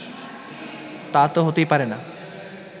তা তো হতেই পারে না